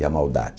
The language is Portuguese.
E a maldade.